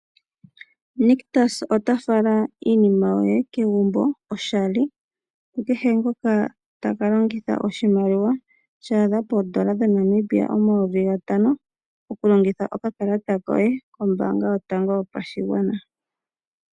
Nictus ota fala iinima yoye kegumbo oshali kukehe ngoka ta ka longitha oshimaliwa sha adha pooN$ 5000 okulongitha okakalata koye kOmbaanga Yotango Yopashigwana.